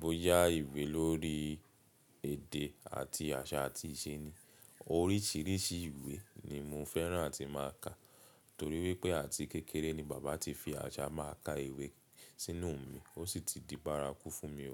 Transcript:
bóyá ìwé lórí èdè àti àṣà àti ìṣe ni. Oríṣiríṣi ìwé ni mo fẹ́ràn tí máa ń kà torí wípé àti kékeré ni bàbá ti fi àṣà máa ka ìwé sínú mi, ó sì ti di bárakú fún mi ọ́.